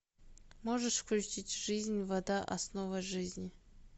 можешь включить жизнь вода основа жизни